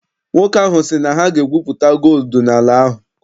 Nwoke ahụ sị na ha ga- egwupụta gooludu n'ala ahụ.